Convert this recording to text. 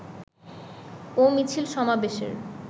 ও মিছিল সমাবেশের